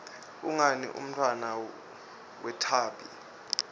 ungubani umntfwana wathembi